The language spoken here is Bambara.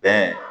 Bɛn